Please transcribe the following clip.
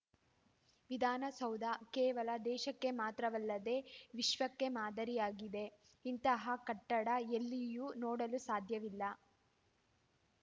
ವಿಧಾನಸೌಧ ಕೇವಲ ದೇಶಕ್ಕೆ ಮಾತ್ರವಲ್ಲದೇ ವಿಶ್ವಕ್ಕೆ ಮಾದರಿಯಾಗಿದೆ ಇಂತಹ ಕಟ್ಟಡ ಎಲ್ಲಿಯೂ ನೋಡಲು ಸಾಧ್ಯವಿಲ್ಲ